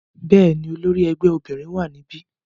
Bẹ́ẹ̀ni, olori ẹgbẹ obinrin wa nibi.